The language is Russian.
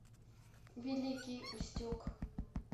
великий устюг